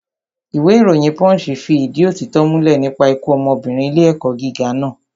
Ìwé ìròyìn pọ́ǹṣì fi ìdí òtítọ́ múlẹ̀ nípa ikú ọmọbìnrin ilé ẹ̀kọ́ gíga naa